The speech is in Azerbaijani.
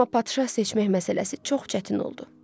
Amma padşah seçmək məsələsi çox çətin oldu.